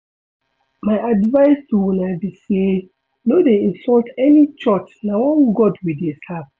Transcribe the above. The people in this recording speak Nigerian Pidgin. My advice to una be say no dey insult any church na one God we dey serve